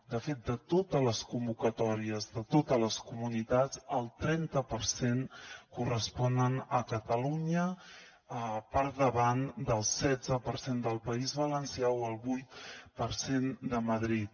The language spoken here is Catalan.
de fet de totes les convocatòries de totes les comunitats el trenta per cent corresponen a catalunya per davant del setze per cent del país valencià o el vuit per cent de madrid